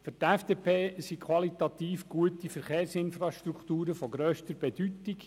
Für die FDP sind qualitativ gute Verkehrsinfrastrukturen von grösster Bedeutung.